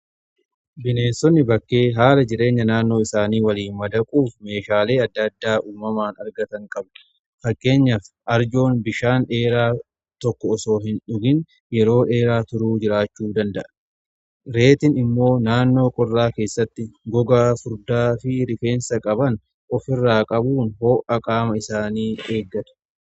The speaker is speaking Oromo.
Bineensonni bakkee haala jireenya naannoo isaanii waliin madaquuf meeshaalee adda addaa uumamaan argatan qabu. Fakkeenyaaf arjoon bishaan dheeraa tokko usoo hin dhugiin yeroo dheeraa turuu jiraachuu danda'a. Reettiin immoo naannoo qorraa keessatti gogaa furdaa fi rifeensa qaban ofirraa qabuun ho'a qaama isaanii eeggatu.